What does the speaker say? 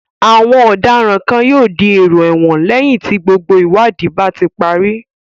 Àwọn ọ̀daràn kan yóò di èrò ẹ̀wọ̀n lẹ́yìn tí gbogbo ìwádìí bá ti parí.